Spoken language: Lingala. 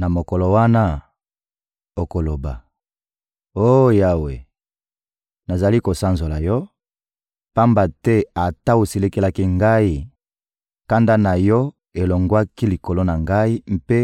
Na mokolo wana, okoloba: «Oh Yawe, nazali kosanzola Yo, pamba te ata osilikelaki ngai, kanda na Yo elongwaki likolo na ngai mpe